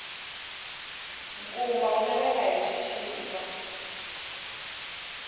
nkumba wu laveka hi xixika